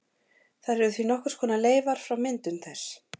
Þær eru því nokkurs konar leifar frá myndun þess.